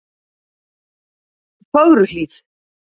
Fögruhlíð